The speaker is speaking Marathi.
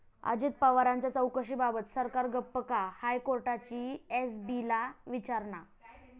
अजित पवारांच्या चौकशीबाबत सरकार गप्प का?, हायकोर्टाची एसीबीला विचारणा